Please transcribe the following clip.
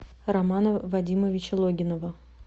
романа вадимовича логинова